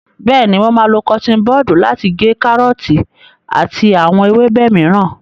Bẹ́ẹ̀ni, mo máa lo kọtiin bọdu lati gé kárọ́ọ̀tì àti àwọn ewébẹ̀ mìíràn.